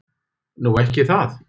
Nú. ekki það?